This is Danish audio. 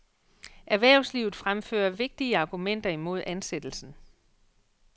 Erhvervslivet fremfører vigtige argumenter imod ansættelsen.